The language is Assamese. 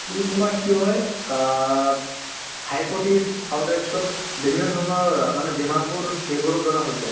তুমি কিয় হয় অ আৰু তাৰপিছত বিভিন্ন ধৰণৰ মানে অ বেমাৰবোৰ এইবোৰৰ দ্বাৰা হৈ যায়